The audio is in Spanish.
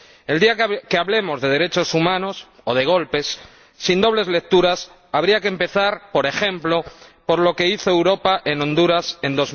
El día que hablemos de derechos humanos ―o de golpes― sin dobles lecturas, habría que empezar, por ejemplo, por lo que hizo Europa en Honduras en